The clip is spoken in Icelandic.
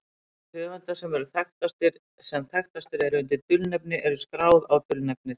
Rit höfunda sem þekktastir eru undir dulnefni eru skráð á dulnefnið.